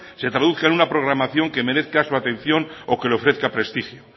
se traduzca en una programación que merezca su atención o que le ofrezca prestigio